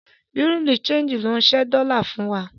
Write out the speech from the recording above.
Bùrúdì ṣẹegì ló ń ṣẹ́ dọ́lá fún wa.